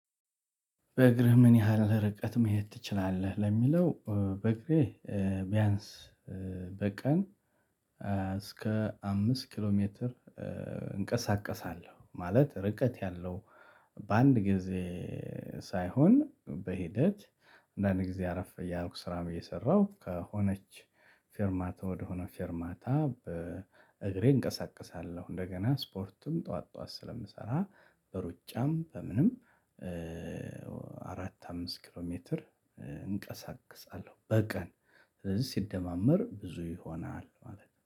በእግርህ ምን ያህል ርቀት መሄድ ትችላለህ ለሚለው? በእግሬ ቢያንስ በቀን እስከ አምስት ኪሎ ሜትር እንቀሳቀሳለሁ። ማለት ርቀት ያለው። በአንድ ጊዜ ሳይሆን በሂደት አንዳንድ ጊዜ አረፍ እያልኩ ስራ ብዬ ሰራሁ። ከሆነች ፌርማታ ወደሆነ ፌርማታ በእግሬ እንቀሳቀሳለሁ። እንደገና ስፖርትም ጠዋት ጠዋት ስለምሰራ በሩጫም በምንም አራት አምስት ኪሎ ሜትር እንቀሳቅሳለሁ። በቀን ስለዚህ ሲደማመር ብዙ ይሆናል ማለት ነው